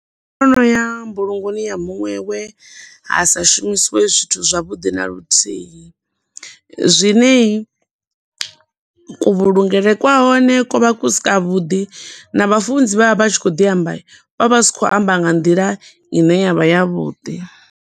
Ndo noya mbulungoni ya muṅwe we hasa shumisiwe zwithu zwa vhuḓi na luthihi, zwine ku vhulungele kwa hone ko vha ku si ka vhuḓi, na vhafunzi vhe vha vha vha tshi khou ḓi amba, vho vha vha si khou amba nga nḓila ine ya vha ya vhuḓi.